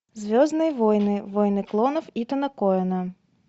звездные войны войны клонов итона коэна